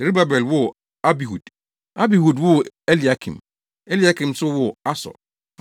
Serubabel woo Abihud, Abihud woo Eliakim, Eliakim nso woo Asor.